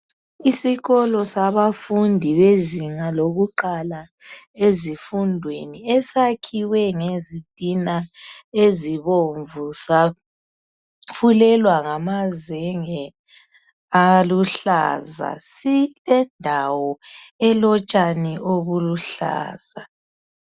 Isikolo sabafundi bezinga lokuqala ezifundweni esakhiwe ngezitina ezibomvu safulelwa ngamazenge aluhlaza silendawo elotshani obuluhlaza.